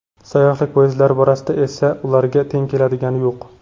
Sayyohlik poyezdlari borasida esa ularga teng keladigan yo‘q.